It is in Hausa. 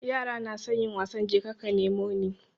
Yara nasan yin wasan jeka ka nemo ni